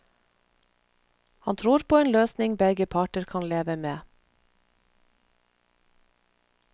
Han tror på en løsning begge parter kan leve med.